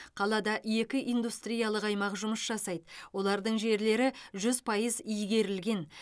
қалада екі индустриялық аймақ жұмыс жасайды олардың жерлері жүз пайыз игерілген